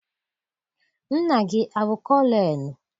Nna gị abụ kọlọnelụ?